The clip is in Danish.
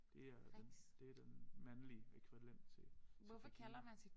Det er den det den mandlige ækvivalent til til Regina